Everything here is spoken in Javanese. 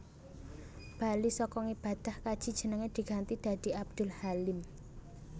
Bali saka ngibadah kaji jenenge diganti dadi Abdul Halim